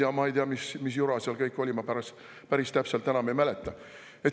Ja ma ei tea, mis jura seal kõik oli, ma päris täpselt enam ei mäleta.